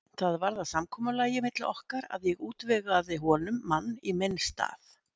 Það varð að samkomulagi milli okkar að ég útvegaði honum mann í minn stað.